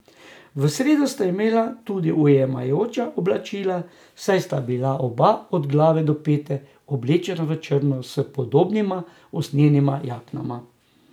V sredo sta imela tudi ujemajoča oblačila, saj sta bila oba od glave do pet oblečena v črno, s podobnima usnjenima jaknama.